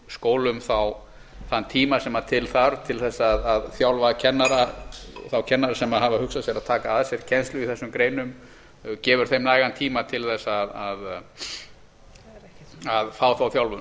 skólum þá þann tíma sem til þarf til þess að þjálfa þá kennara sem hafa hugsað sér að taka að sér kennslu í þessum greinum gefur þeim nægan tíma til þess að fá þá þjálfun